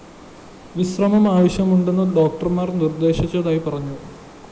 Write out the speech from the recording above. വിശ്രമം ആവശ്യമുണ്ട് എന്ന് ഡോക്ടര്‍മാര്‍ നിര്‍ദ്ദേശിച്ചതായി പറഞ്ഞു